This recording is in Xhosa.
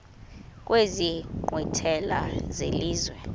kwezi nkqwithela zelizwe